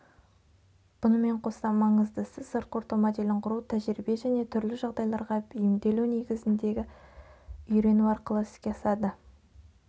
бұнымен қоса маңыздысы сыртқы орта моделін құру тәжірибе және түрлі жағдайларға бейімделу негізіндегі үйрену арқылы іске асады